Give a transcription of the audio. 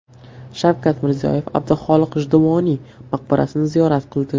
Shavkat Mirziyoyev Abduxoliq G‘ijduvoniy maqbarasini ziyorat qildi.